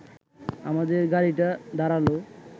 আমাদের গাড়িটা দাঁড়াল